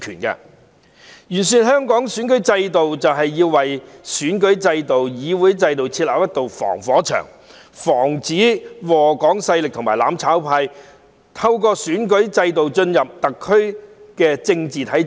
完善香港的選舉制度，就是要為選舉制度、議會制度設立一道防火牆，防止禍港勢力和"攬炒派"透過選舉制度進入特區的政治體制。